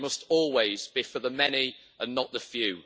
They must always be for the many, and not the few.